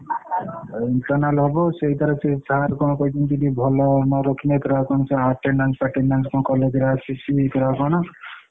ଏ internal ହବ ସେଇଥିରେ sir କଣ କହିଛନ୍ତି ତୁ ଯଦି ଭଲ ନରଖିଲେ ପୁରା କହୁଛି attendance ଫଟେଣ୍ଡଏଙ୍କେ କଣ college ରେ ଆସିଛି ପୁରା କଣ?